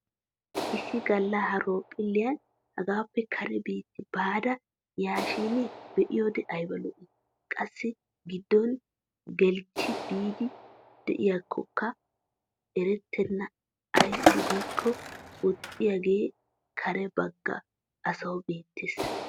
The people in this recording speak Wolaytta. Issi galla horoophphilliyan hagaappe kare biitti baada yaashin be'iyoode ayba lo'ii. Qassi giddon geliichchi biiddi diyakkokka erettenna ayssi giikko woxxiyaagee kare bagga asawu beettes.